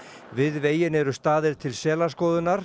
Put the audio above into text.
við veginn eru staðir til